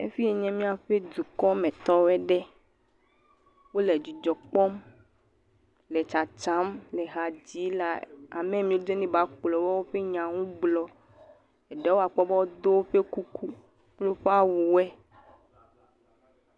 Efi yi nye miaƒe dukɔmetɔwo ɖe. wo le dzidzɔ kpɔm le tsatsam le ha dzi le ame mi be neva kplɔwo ƒe nyanu gblɔ. Eɖewo akpɔ be wodo woƒe kuku kple woƒe awu wo.